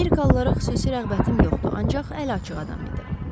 Amerikalılara xüsusi rəğbətim yoxdur, ancaq əliaçıq adam idi.